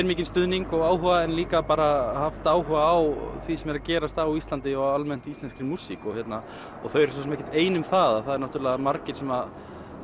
mikinn stuðning og áhuga en líka bara haft áhuga á því sem er að gerast á Íslandi og almennt íslenskri músík þau eru svo sem ekkert ein um það það eru margir sem